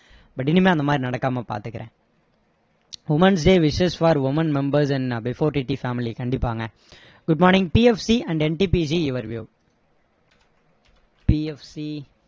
but இனிமே அந்த மாதிரி நடக்காம பாத்துக்குறேன் womens day wishes for women members and before TT family கண்டிப்பாங்க good morning PFC and NTPC your view PFC